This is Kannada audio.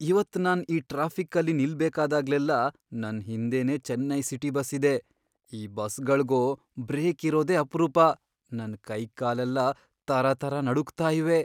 ಇವತ್ ನಾನ್ ಈ ಟ್ರಾಫಿಕ್ಕಲ್ಲಿ ನಿಲ್ಬೇಕಾದಾಗ್ಲೆಲ್ಲ ನನ್ ಹಿಂದೆನೇ ಚೆನ್ನೈ ಸಿಟಿ ಬಸ್ ಇದೆ, ಈ ಬಸ್ಗಳ್ಗೋ ಬ್ರೇಕ್ ಇರೋದೇ ಅಪ್ರೂಪ.. ನನ್ ಕೈಕಾಲೆಲ್ಲ ತರತರ ನಡುಗ್ತಾ ಇವೆ.